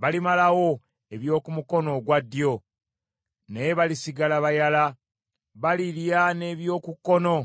Balimalawo eby’oku mukono ogwa ddyo, naye balisigala bayala; balirya n’eby’oku kkono,